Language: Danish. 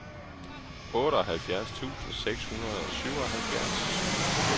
otteoghalvfjerds tusind seks hundrede og syvoghalvfjerds